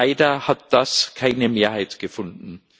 Leider hat das keine Mehrheit gefunden.